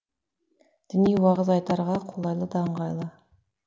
діни уағыз айтарға қолайлы да ыңғайлы